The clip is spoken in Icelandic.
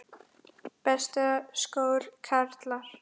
Besta skor, karlar